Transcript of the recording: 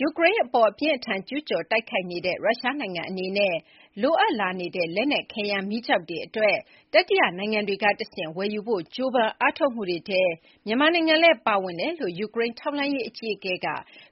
ယူကရိန်းအပေါ် အပြင်းအထန်ကျူးကျော်တိုက်ခိုက်နေတဲ့ ရုရှားနိုင်ငံအနေနဲ့ လိုအပ်လာနေတဲ့ လက်နက်ခဲယမ်းမီးကျောက်တွေအတွက် တတိယနိုင်ငံတွေကတဆင့် ဝယ်ယူဖို့ ကြိုးပမ်းအားထုတ်မှုတွေထဲ မြန်မာနိုင်ငံလည်းပါဝင်နေကြောင်း ယူကရိန်းထောက်လှမ်းရေးအကြီးအကဲက